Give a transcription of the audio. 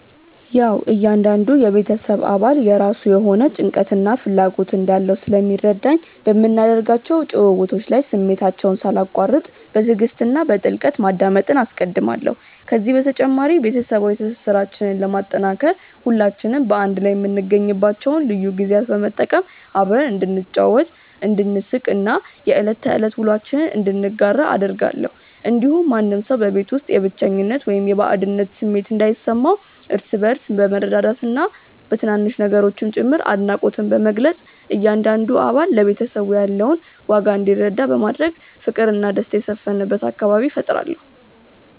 ያዉ እያንዳንዱ የቤተሰብ አባል የራሱ የሆነ ጭንቀትና ፍላጎት እንዳለው ስለሚረዳኝ፣ በምናደርጋቸው ጭውውቶች ላይ ስሜታቸውን ሳላቋርጥ በትዕግስት እና በጥልቀት ማዳመጥን አስቀድማለሁ። ከዚህ በተጨማሪ፣ ቤተሰባዊ ትስስራችንን ለማጠናከር ሁላችንም በአንድ ላይ የምንገኝባቸውን ልዩ ጊዜያት በመጠቀም አብረን እንድንጫወት፣ እንድንሳቅ እና የዕለት ተዕለት ውሎአችንን እንድንጋራ አደርጋለሁ። እንዲሁም ማንም ሰው በቤት ውስጥ የብቸኝነት ወይም የባዕድነት ስሜት እንዳይሰማው፣ እርስ በእርስ በመረዳዳትና በትናንሽ ነገሮችም ጭምር አድናቆትን በመግለጽ እያንዳንዱ አባል ለቤተሰቡ ያለውን ዋጋ እንዲረዳ በማድረግ ፍቅርና ደስታ የሰፈነበት አካባቢ እፈጥራለሁ።